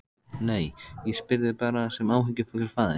Nei, ég spyr þig bara sem áhyggjufullur faðir.